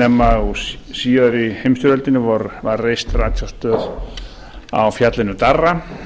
nema í síðar heimsstyrjöldinni var reist ratsjárstöð á fjallinu darra